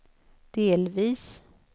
delvis